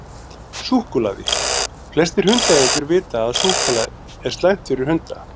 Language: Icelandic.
Súkkulaði: Flestir hundaeigendur vita að súkkulaði er slæmt fyrir hunda.